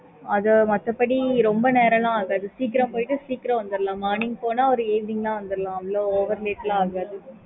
okay mam